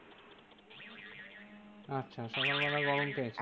আচ্ছা সকালবেলা গরম পেয়েছেন?